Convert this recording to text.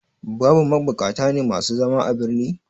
Babu mabukata ne masu zama a birni?